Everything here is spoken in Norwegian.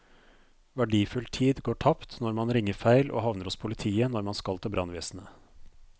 Verdifull tid går tapt når man ringer feil og havner hos politiet når man skal til brannvesenet.